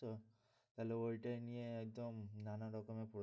তাহলে ওইটাই নিয়ে একদম নানা রকমের তো।